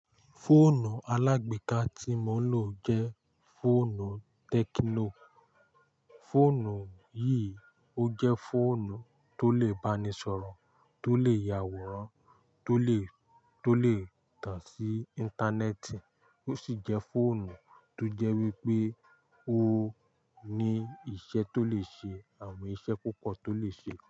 Fóònù alágbéka tí mo ń lò jẹ́ fóònù Tekno. Fóònù yìí ó jẹ́ fóònù tó lè báni sọ̀rọ̀ tólè ya àwòrán tó lè tàn sí intaneeti ó sì jẹ́ fóònù tó jẹ́ wípé ó ní iṣẹ́ tó lè ṣe àwọn iṣẹ́ púpọ̀ tó lè ṣe.